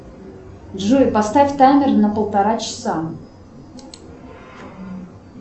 джой поставь таймер на полтора часа